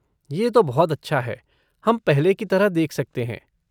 ये तो बहुत अच्छा है हम पहले की तरह देख सकते हैं।